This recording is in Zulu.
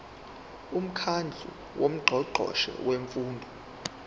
umkhandlu wongqongqoshe bemfundo